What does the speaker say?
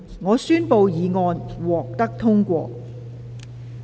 我宣布議案獲得通過。